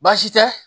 Baasi tɛ